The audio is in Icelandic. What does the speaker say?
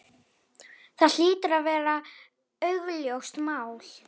Það hlýtur að vera augljóst mál.